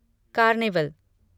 carnival